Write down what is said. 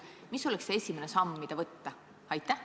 Mis oleks esimene samm, mis tuleks astuda?